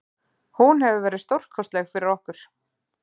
Hún hefur verið stórkostleg fyrir okkur.